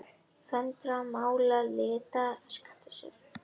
Hún svarar með því að láta varirnar hverfa inn í munninn.